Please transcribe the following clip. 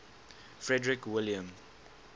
frederick william